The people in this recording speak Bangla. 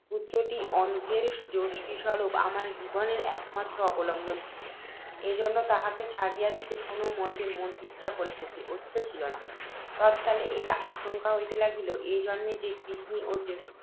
পুত্ত্রটি, অন্ধের যষ্টিস্বরূপ, আমার জীবনের একমাত্র অবলম্বন ছিল, এজন্য তাহাকে ছাড়িয়া দিতে কোনও মতে ইচ্ছা ছিল না। তৎকালে এই আশঙ্কা হইতে লাগিল, এ জন্মে যে গৃহিণী ও জ্যেষ্ঠ পুত্ত্রের